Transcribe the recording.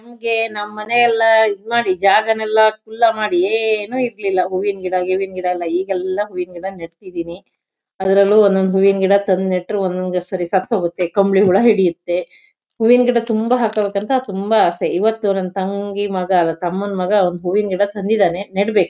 ಹಿಂಗೆ ನಮ್ಮನೆ ಎಲ್ಲ ಇದ್ ಮಾಡಿ ಜಾಗನೆಲ್ಲ ಕುಲ್ಲ ಮಾಡಿಏನು ಇರ್ಲಿಲ್ಲ ಹೂವಿನ್ ಗಿವಿನ್ಗಿಡ ಎಲ್ಲ ಈಗೆಲ್ಲ ಹೂವಿನ್ ಗಿಡ ನೆಡ್ತಿದಿನಿ ಅದ್ರಲ್ಲೂ ಒಂದೊಂದ್ ಹೂವಿನ್ ಗಿಡ ತಂದ್ ನೆಟ್ರು ಒಂದೊಂದ್ಸರಿ ಸತ್ತೋಗತ್ತೆ ಕಂಬ್ಳಿ ಹುಳ ಹಿಡಿಯತ್ತೆ ಹೂವಿನ್ ಗಿಡ ತುಂಬ ಹಾಕಬೇಕಂತ ತುಂಬ ಆಸೆ ಇವತ್ತು ನನ್ ತಂಗಿ ಮಗ ತಮ್ಮನ್ ಮಗ ಹೂವಿನ್ ಗಿಡ ತಂದಿದಾನೆ ನೀಡ್ಬೇಕು.